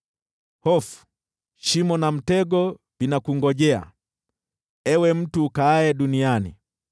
Hofu, shimo na mtego vinakungojea, ewe mtu ukaaye duniani.